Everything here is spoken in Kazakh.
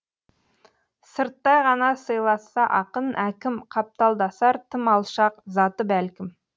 сырттай ғана сыйласса ақын әкім қапталдасар тым алшақ заты бәлкім